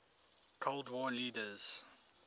cold war leaders